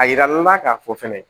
A yiralaw la k'a fɔ fɛnɛ